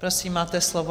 Prosím, máte slovo.